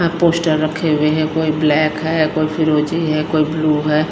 यहां पोस्टर रखे हुए है कोई ब्लैक है कोई फिरोजी है कोई ब्लू है।